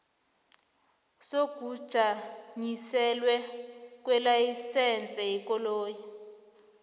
sokujanyiselelwa kwelayisense yekoloyi